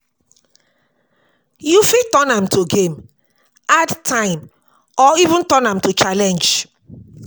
You fit turn am to game, add time or even turn am to challenge